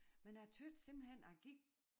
Men jeg tøt simpelthen jeg gik